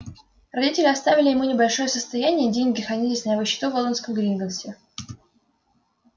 родители оставили ему небольшое состояние деньги хранились на его счету в лондонском гринготтсе